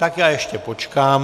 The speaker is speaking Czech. Tak já ještě počkám.